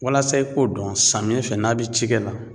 Walasa i k'o dɔn samiyɛ fɛ n'a bɛ cikɛ la